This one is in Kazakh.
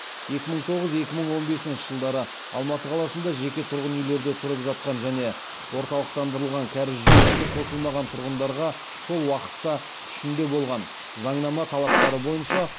екі мың тоғыз он бесінші жылдары алматы қаласында жеке тұрғын үйлерде тұрып жатқан және орталықтандырылған кәріз жүйесіне қосылмаған тұрғындарға сол уақытта күшінде болған заңнама талаптары бойынша